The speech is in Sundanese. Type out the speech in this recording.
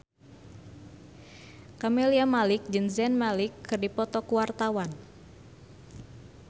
Camelia Malik jeung Zayn Malik keur dipoto ku wartawan